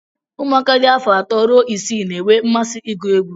ụmụaka dị afọ atọ ruo isii na-enwe mmasị ịgụ egwu